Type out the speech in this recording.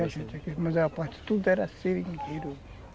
Tinha gente aqui, mas a parte toda era seringueiro.